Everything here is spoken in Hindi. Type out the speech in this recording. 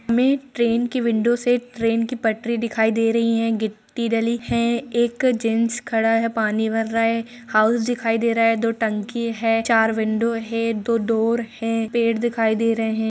हमें ट्रेन की विंडो से ट्रेन की पटरी दिखाई दे रही है गिट्टी डली है एक जेंट्स खड़ा है पानी भर रहा है हाउस दिखाई दे रहा है दो टंकी है चार विंडो है दो डोर है पेड़ दिखाई दे रहे है।